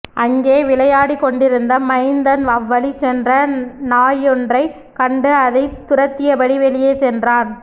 அங்கே விளையாடிக்கொண்டிருந்த மைந்தன் அவ்வழி சென்ற நாயொன்றைக் கண்டு அதைத் துரத்தியபடி வெளியே சென்றான்